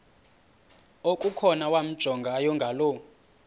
okukhona wamjongay ngaloo